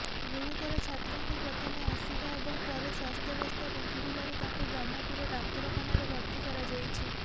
ଗୁରୁତର ଛାତ୍ରଙ୍କୁ ପ୍ରଥମେ ଆସିକା ଏବଂ ପରେ ସ୍ୱାସ୍ଥ୍ୟବସ୍ଥା ବିଗିଡିବାରୁ ତାଙ୍କୁ ବ୍ରହ୍ମପୁର ଡାକ୍ତରଖାନାରେ ଭର୍ତ୍ତି କରାଯାଇଛି